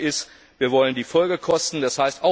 Das zweite ist Wir wollen die Folgekosten, d.